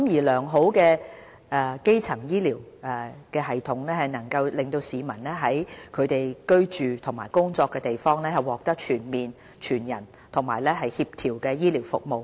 良好的基層醫療系統能令市民在其居住和工作的地方獲得全面、全人和協調的醫療服務。